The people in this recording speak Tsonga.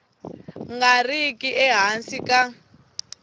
nga ri ki ehansi ka